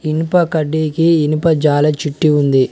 ఇనుప కడ్డికి ఇనుప జాల చిట్టి ఉంది.